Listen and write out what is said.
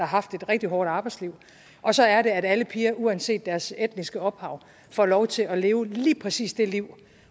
haft et rigtig hårdt arbejdsliv og så er det at alle piger uanset deres etniske ophav får lov til at leve lige præcis det liv